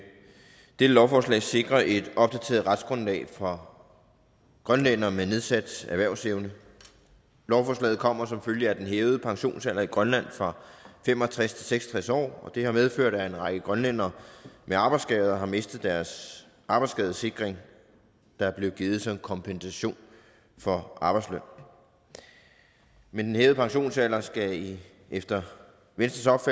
dette lovforslag sikre et opdateret retsgrundlag for grønlændere med nedsat erhvervsevne lovforslaget kommer som følge af den hævede pensionsalder i grønland fra fem og tres til seks og tres år og det har medført at en række grønlændere med arbejdsskader har mistet deres arbejdsskadesikring der er blevet givet som kompensation for arbejdsløn men den hævede pensionsalder skal efter venstres